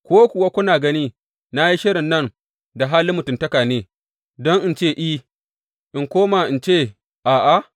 Ko kuwa, kuna gani na yi shirin nan da halin mutuntaka ne, don in ce, I in koma in ce, A’a?